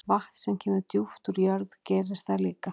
Vatn sem kemur djúpt úr jörð gerir það líka.